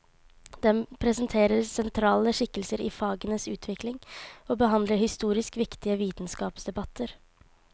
Den presenterer sentrale skikkelser i fagenes utvikling, og behandler historisk viktige vitenskapsdebatter.